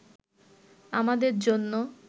আমাদের জন্য